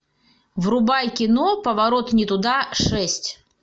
врубай кино поворот не туда шесть